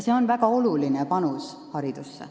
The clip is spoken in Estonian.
See on väga oluline panus haridusse.